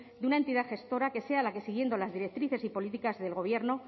de una entidad gestora que sea la que siguiendo las directrices y políticas del gobierno